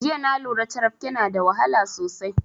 Jiya na lura carabke na da wahala sosai